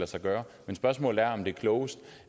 sig gøre men spørgsmålet er om det er klogest